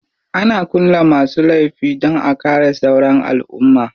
Ana kulle masu laifi dan a kare sauran alumma.